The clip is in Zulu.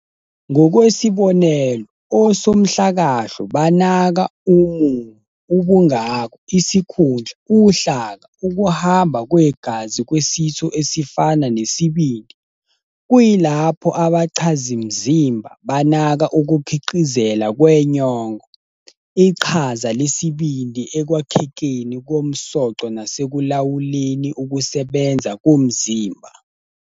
Ngokwesibonelo, osomhlakahlo banaka umumo, ubungako, isikhundla, uhlaka, ukuhamba kwegazi kwesitho esifana nesibindi, kuyilapho abachazimzimba banaka ukukhiqizela kwenyongo, iqhaza lesibindi ekwakhekeni komsoco nasekulawuleni ukusebenza komzimba.